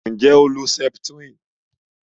Nje o lo septrin?